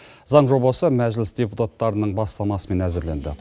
заң жобасы мәжіліс депутаттарының бастамасымен әзірленді